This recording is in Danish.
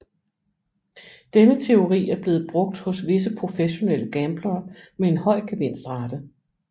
Denne teori er blevet brugt hos visse professionelle gamblere med en høj gevinstrate